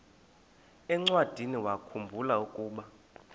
encwadiniwakhu mbula ukuba